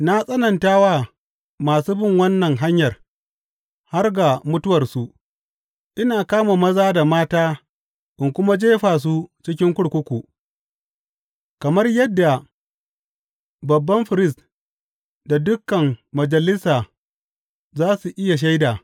Na tsananta wa masu bin wannan Hanyar har ga mutuwarsu, ina kama maza da mata ina kuma jefa su cikin kurkuku, kamar yadda babban firist da dukan Majalisa za su iya shaida.